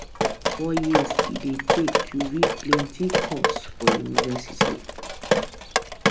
four years e dey take to read plenty course for university.